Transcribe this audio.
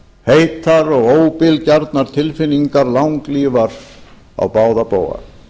heitar og óbilgjarnar tilfinningar langlífar á báða bóga